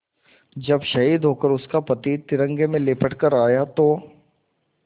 जब शहीद होकर उसका पति तिरंगे में लिपट कर आया था तो